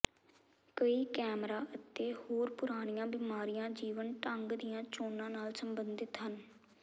ਕਈ ਕੈਂਸਰਾਂ ਅਤੇ ਹੋਰ ਪੁਰਾਣੀਆਂ ਬਿਮਾਰੀਆਂ ਜੀਵਨ ਢੰਗ ਦੀਆਂ ਚੋਣਾਂ ਨਾਲ ਸਬੰਧਤ ਹਨ